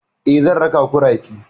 Eh, zan raka ku rafi.